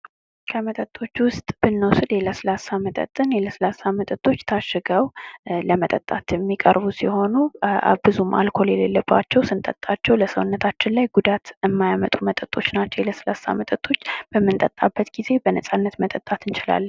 በቀቀኖች የሰዎችን ድምፅ መኮረጅ ይችላሉ። እባቦች ያለ እግር የሚንቀሳቀሱ የዱር እንስሳት ናቸው